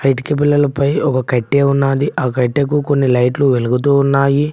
ఇటిక పెల్లలపై ఒక కట్టె ఉన్నాది ఆ కట్టెకు కొన్ని లైట్లు వెలుగుతూ ఉన్నాయి.